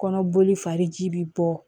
Kɔnɔboli fariji bi bɔ